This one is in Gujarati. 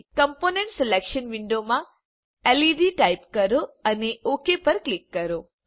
કોમ્પોનન્ટ સિલેક્શન વિન્ડોમાં લેડ ટાઇપ કરો અને ઓક પર ક્લિક કરો